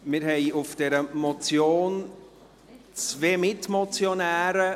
Diese Motion hat zwei Mitmotionäre.